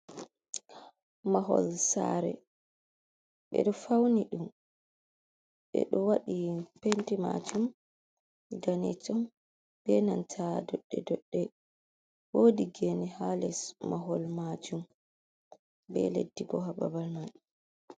Mahol saare ɓe ɗo fauni ɗum ɓe ɗo waɗi penti majum danejum be nanta doɗɗe doɗɗe wodi geene ha les mahol majum be leddi bo ha babal man.